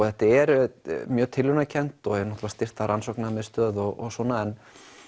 þetta er mjög tilraunakennt og styrkt af rannsóknamiðstöð og svona en